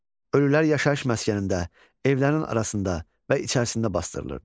Ölülər yaşayış məskənində, evlərin arasında və içərisində basdırılırdı.